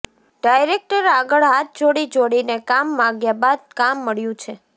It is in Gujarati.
ડાયરેક્ટર આગળ હાથ જોડી જોડીને કામ માગ્યા બાદ કામ મળ્યું છે